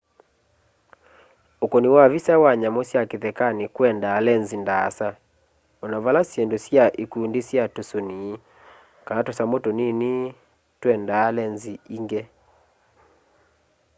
ukuni wa visa wa nyamu sya kithekani kwendaa lenzi ndaasa ona vala syindũ sya ikundi sya tũsũni kana tusamũ tũnini twendaa lenzi ingi